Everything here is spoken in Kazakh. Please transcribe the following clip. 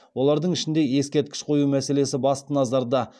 олардың ішінде ескерткіш қою мәселесі басты назарда